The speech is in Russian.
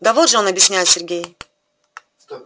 да вот же он объясняет сергей